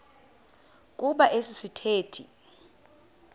kuba esi sithethe